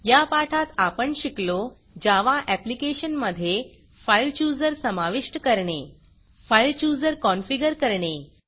या पाठात आपण शिकलो जावा ऍप्लिकेशन मधे फाइल chooserफाइल चुजर समाविष्ट करणे फाइल chooserफाइल चुजर कॉनफिगर करणे